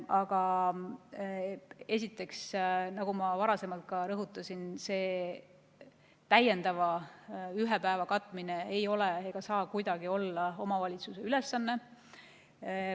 Aga esiteks, nagu ma varasemalt ka rõhutasin, see ühe täiendava päeva katmine ei ole ega saa kuidagi olla omavalitsuse ülesanne.